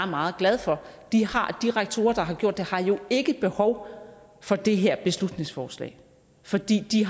meget glad for de rektorer der har gjort det har jo ikke behov for det her beslutningsforslag fordi de